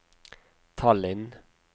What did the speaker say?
Tallinn